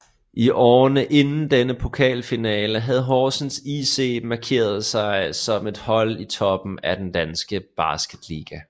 I årene inden denne pokalfinale havde Horsens IC markeret sig som et hold i toppen af den danske basketliga